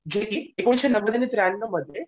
जे की एकोणीसशे नव्व्यान्नव त्र्यांनवमध्ये